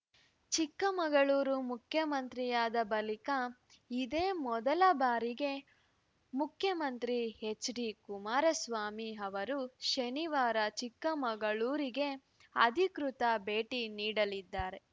ಚಿಕ್ಕಮಗಳೂರು ಮುಖ್ಯಮಂತ್ರಿಯಾದ ಬಳಿಕ ಇದೇ ಮೊದಲ ಬಾರಿಗೆ ಮುಖ್ಯಮಂತ್ರಿ ಎಚ್‌ಡಿಕುಮಾರಸ್ವಾಮಿ ಅವರು ಶನಿವಾರ ಚಿಕ್ಕಮಗಳೂರಿಗೆ ಅಧಿಕೃತ ಭೇಟಿ ನೀಡಲಿದ್ದಾರೆ